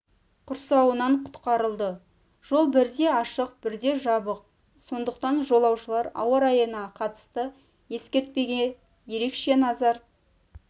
құрсауынан құтқарылды жол бірде ашық бірде жабық сондықтан жолаушылар ауа райына қатысты ескертпеге ерекше назар